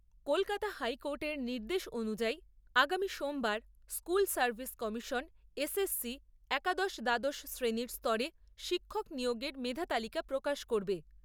কলকাতা হাইকোর্টের নির্দেশ অনুযায়ী, আগামী সোমবার, স্কুল সার্ভিস কমিশন এসএসসি একাদশ দ্বাদশ শ্রেণীর স্তরে শিক্ষক নিয়োগের মেধা তালিকা প্রকাশ করবে।